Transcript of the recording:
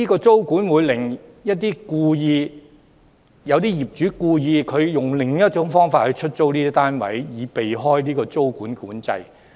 租管可能令部分業主故意以另一種方式出租單位，以避開租管。